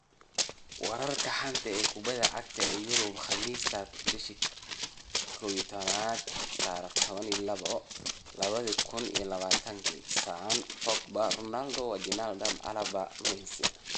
Wararka xanta kubada cagta Yurub Khamiista 12.11.2020: Son, Pogba, Ronaldo, Wijnaldum, Alaba, Messi